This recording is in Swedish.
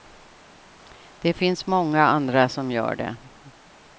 Det finns så många andra som gör det.